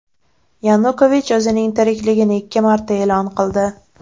Yanukovich o‘zining tirikligini ikki marta e’lon qildi.